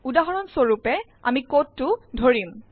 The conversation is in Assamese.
উদাহৰণ স্বৰূপে আমি কোডটো ধৰিম